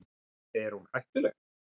Er hún hættuleg?